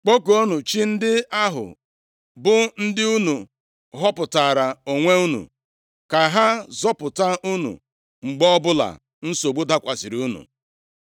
Kpọkuonụ chi ndị ahụ bụ ndị unu họpụtaara onwe unu, ka ha zọpụta unu mgbe ọbụla nsogbu dakwasịrị unu!”